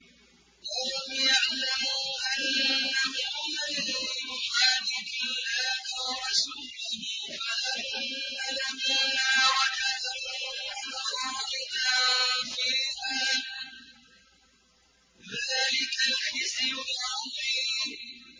أَلَمْ يَعْلَمُوا أَنَّهُ مَن يُحَادِدِ اللَّهَ وَرَسُولَهُ فَأَنَّ لَهُ نَارَ جَهَنَّمَ خَالِدًا فِيهَا ۚ ذَٰلِكَ الْخِزْيُ الْعَظِيمُ